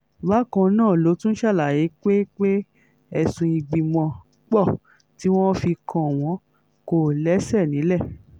bákan náà ló tún ṣàlàyé pé pé ẹ̀sùn ìgbìmọ̀-pọ̀ tí wọ́n fi kàn wọ́n kò lẹ́sẹ̀ nílẹ̀